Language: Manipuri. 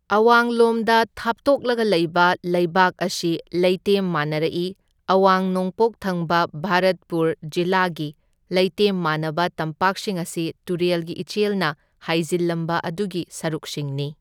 ꯑꯋꯥꯡ ꯂꯣꯝꯗ ꯊꯥꯞꯇꯣꯛꯂꯒ ꯂꯩꯕ ꯂꯩꯕꯥꯛ ꯑꯁꯤ ꯂꯩꯇꯦꯝ ꯃꯥꯟꯅꯔꯛꯏ, ꯑꯋꯥꯡ ꯅꯣꯡꯄꯣꯛ ꯊꯪꯕ ꯚꯥꯔꯠꯄꯨꯔ ꯖꯤꯂꯥꯒꯤ ꯂꯩꯇꯦꯝ ꯃꯥꯟꯅꯕ ꯇꯝꯄꯥꯛꯁꯤꯡ ꯑꯁꯤ ꯇꯨꯔꯦꯜꯒꯤ ꯏꯆꯦꯜꯅ ꯍꯥꯏꯖꯤꯜꯂꯝꯕ ꯑꯗꯨꯒꯤ ꯁꯔꯨꯛꯁꯤꯡꯅꯤ꯫